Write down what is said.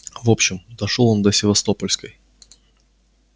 в общем дошёл он до севастопольской